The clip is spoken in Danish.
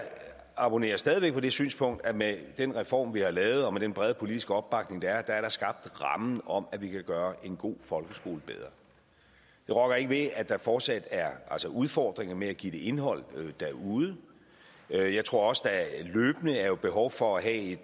abonnerer stadig væk på det synspunkt at med den reform vi har lavet og med den brede politiske opbakning der er er der skabt rammen om at vi kan gøre en god folkeskole bedre det rokker ikke ved at der fortsat er udfordringer med at give det indhold derude jeg jeg tror også der løbende er behov for at